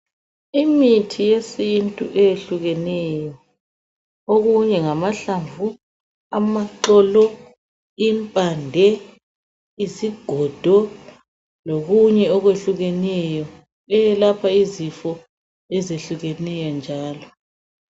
Imithi yesintu eyehlukeneyo okunye ngamahlavu amaxoxo impande isigodo lokunye okwehlukeneyo eyelapha izifo ezehlukeneyo njalo